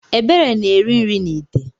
Ebere na-eri nri n’ite